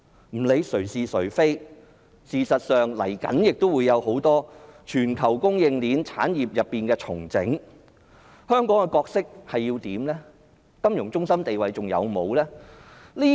不論誰是誰非，事實上，接下來會有很多全球供應鏈進行產業重整，香港究竟有何角色和定位？